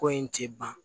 Ko in tɛ ban